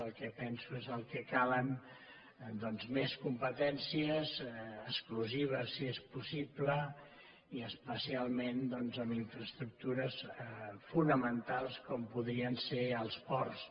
el que penso és que calen doncs més competències exclusives si és possible i especialment doncs amb infraestructures fonamentals com podrien ser els ports